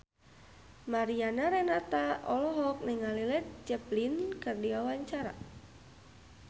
Mariana Renata olohok ningali Led Zeppelin keur diwawancara